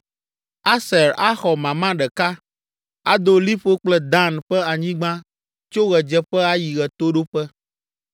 Aser axɔ mama ɖeka; ado liƒo kple Dan ƒe anyigba tso ɣedzeƒe ayi ɣetoɖoƒe.